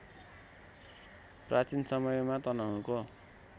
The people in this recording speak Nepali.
प्राचीन समयमा तनहुँको